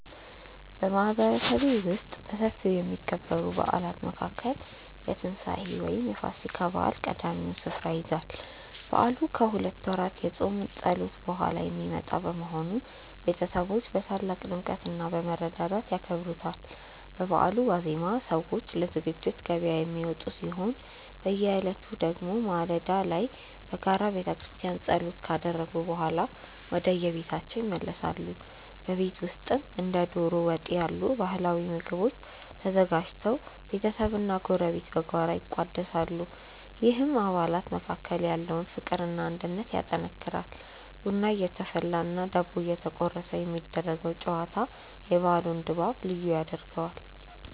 በማህበረሰቤ ውስጥ በሰፊው ከሚከበሩ በዓላት መካከል የትንሳኤ (ፋሲካ) በዓል ቀዳሚውን ስፍራ ይይዛል። በዓሉ ከሁለት ወራት የጾም ጸሎት በኋላ የሚመጣ በመሆኑ፣ ቤተሰቦች በታላቅ ድምቀትና በመረዳዳት ያከብሩታል። በበዓሉ ዋዜማ ሰዎች ለዝግጅት ገበያ የሚወጡ ሲሆን፣ በዕለቱ ደግሞ ማለዳ ላይ በጋራ በቤተክርስቲያን ጸሎት ካደረጉ በኋላ ወደየቤታቸው ይመለሳሉ። በቤት ውስጥም እንደ ዶሮ ወጥ ያሉ ባህላዊ ምግቦች ተዘጋጅተው ቤተሰብና ጎረቤት በጋራ ይቋደሳሉ፤ ይህም በአባላት መካከል ያለውን ፍቅርና አንድነት ያጠናክራል። ቡና እየተፈላና ዳቦ እየተቆረሰ የሚደረገው ጨዋታ የበዓሉን ድባብ ልዩ ያደርገዋል።